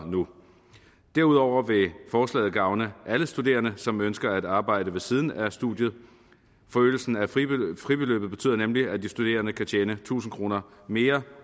nu derudover vil forslaget gavne alle studerende som ønsker at arbejde ved siden af studiet forøgelsen af fribeløbet fribeløbet betyder nemlig at de studerende kan tjene tusind kroner mere